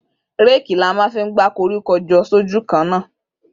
Rẹki là mà fi gbẹ kọrikọ jọ ṣójù kán na.